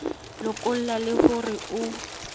lokolla le ho re ho